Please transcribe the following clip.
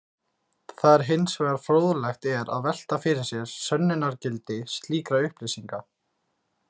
Það er hins vegar fróðlegt er að velta fyrir sér sönnunargildi slíkra upplýsinga.